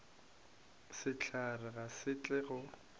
sehlare ga se tle go